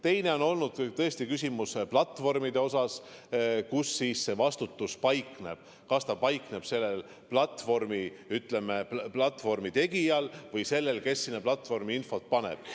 Teine on olnud tõesti küsimuse platvormide kohta, kus siis vastutus paikneb – kas ta paikneb, ütleme, platvormi tegijal või sellel, kes sinna infot paneb.